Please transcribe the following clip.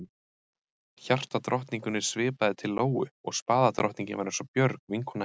Hjartadrottningunni svipaði til Lóu og spaðadrottningin var eins og Björg, vinkona hennar.